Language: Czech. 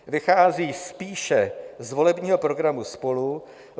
Vychází spíše z volebního programu SPOLU.